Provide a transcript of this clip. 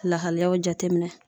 Lahalayaw jateminɛ.